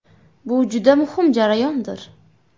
Bu juda muhim jarayondir.